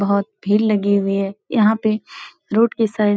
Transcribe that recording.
बहुत भीड़ लगी हुई है। यहाँ पे रोड के साइड --